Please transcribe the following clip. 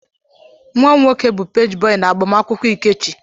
Nwa m nwoke bụ peeji bọị n'agbamakwụkwọ Ikechi.